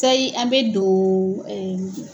Sayi an mɛ don